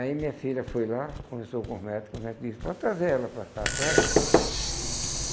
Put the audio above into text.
Aí minha filha foi lá, conversou com os médico, os médico disse, pode trazer ela para cá, traga.